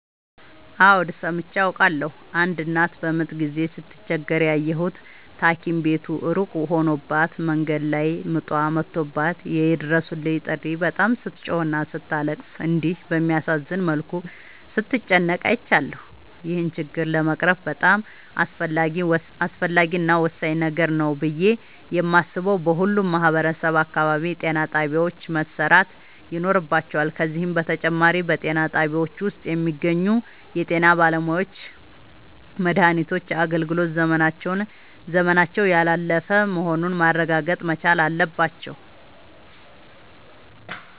አዎድ ሠምቼ አውቃለሁ። አንድ እናት በምጥ ጊዜ ስትቸገር ያየሁት ታኪም ቤቱ እሩቅ ሆኖባት መንገድ ላይ ምጧ መቶባት የይድረሡልኝ ጥሪ በጣም ስትጮህና ስታለቅስ እንዲሁም በሚያሳዝን መልኩ ስትጨነቅ አይቻለሁ። ይህን ችግር ለመቅረፍ በጣም አስፈላጊ እና ወሳኝ ነገር ነው ብሌ የማሥበው በሁሉም ማህበረሠብ አካባቢ ጤናጣቢያዎች መሠራት ይኖርባቸዋል። ከዚህም በተጨማሪ በጤናጣቢያው ውስጥ የሚገኙ የጤናባለሙያዎች መድሃኒቶች የአገልግሎት ዘመናቸው ያላለፈ መሆኑን ማረጋገጥ መቻል አለባቸው።